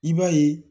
I b'a ye